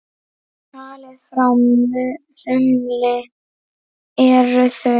Talið frá þumli eru þau